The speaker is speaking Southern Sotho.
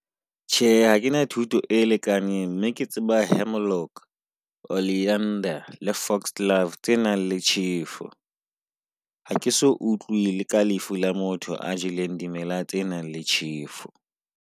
Tjhe, ha ke na thuto e lekaneng mme ke tseba Hemlock, Oleander le Fox glove tse nang le tjhefu. Ha ke so utlwile ka lefu la motho a jeleng dimela tse nang le tjhefu.